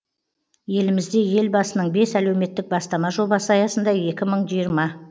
елімізде елбасының бес әлеуметтік бастама жобасы аясында екі мың жиырма